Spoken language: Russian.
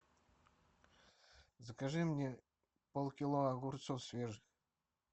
закажи мне полкило огурцов свежих